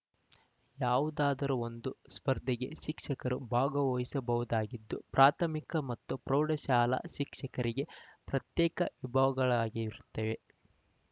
ಯಾವುದಾದರೂ ಒಂದು ಸ್ಪರ್ಧೆಗೆ ಶಿಕ್ಷಕರು ಭಾಗವಹಿಸಬಹುದಾಗಿದ್ದು ಪ್ರಾಥಮಿಕ ಮತ್ತು ಪ್ರೌಢಶಾಲಾ ಶಿಕ್ಷಕರಿಗೆ ಪ್ರತ್ಯೇಕ ವಿಭಾಗಗಳಿರುತ್ತವೆ